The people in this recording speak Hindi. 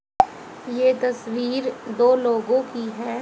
ये तस्वीर दो लोगों की हैं।